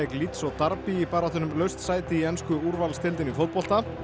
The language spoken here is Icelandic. Leeds og Derby í baráttunni um laust sæti í ensku úrvalsdeildinni í fótbolta